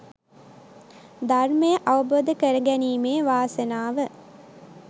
ධර්මය අවබෝධ කරගැනීමේ වාසනාව